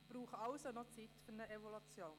Es braucht also noch Zeit für eine Evaluation.